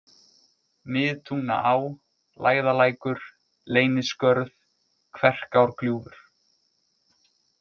Miðtungnaá, Lægðalækur, Leyniskörð, Kverkárgljúfur